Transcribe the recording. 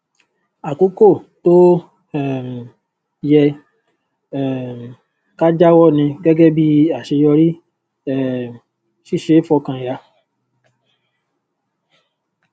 àkókò tó um yẹ um ká jáwọ ni gẹgẹ bí àṣeyọrí um ṣíṣe fọkàn yà